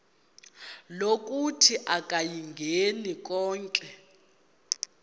lokuthi akayingeni konke